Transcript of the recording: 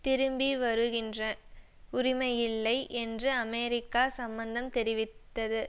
திரும்பிவருகின்ற உரிமையில்லை என்று அமெரிக்கா சம்மந்தம் தெரிவித்தது